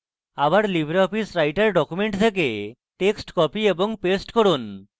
আবার libreoffice writer document থেকে text copy এবং paste করুন